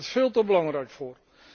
Daar is het veel te belangrijk voor.